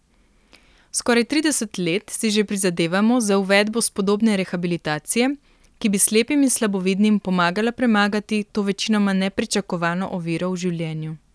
Skoraj trideset let si že prizadevamo za uvedbo spodobne rehabilitacije, ki bi slepim in slabovidnim pomagala premagati to večinoma nepričakovano oviro v življenju.